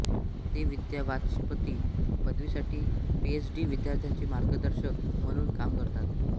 ते विद्यावाचस्पती पदवीसाठी पीएच डी विद्यार्थ्यांचे मार्गदर्शक म्हणून काम करतात